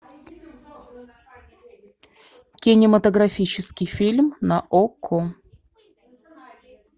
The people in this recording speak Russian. кинематографический фильм на окко